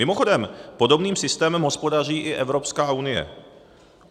Mimochodem, podobným systémem hospodaří i Evropská unie.